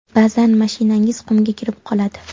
Ba’zan mashinangiz qumga kirib qoladi.